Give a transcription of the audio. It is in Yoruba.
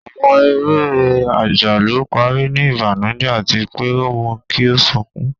Àwọn eré ajalu pari ni ibanujẹ ati pe o mu ki o sọkun